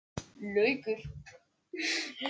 Þessar miðnæturstundir voru samt heilagar í okkar huga.